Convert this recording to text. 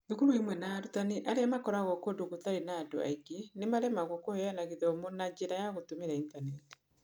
Thukuru imwe na arutani arĩa maikaraga kũndũ gũtarĩ na andũ aingĩ nĩ maaremagwo kũheana gĩthomo na njĩra ya gũtumĩra ĩntaneti.